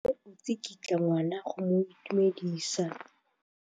Mme o tsikitla ngwana go mo itumedisa.